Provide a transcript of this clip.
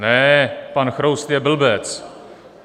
Ne, pan Chroust je blbec.